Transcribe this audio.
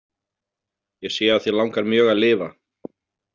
Ég sé að þig langar mjög að lifa.